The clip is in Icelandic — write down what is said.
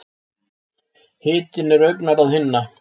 Hitinn er augnaráð hinna.